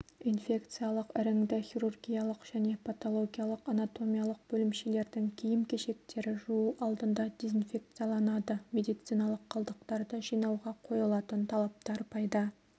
инфекциялық іріңді хирургиялық және патологиялық-анатомиялық бөлімшелердің киім-кешектері жуу алдында дезинфекцияланады медициналық қалдықтарды жинауға қойылатын талаптар пайда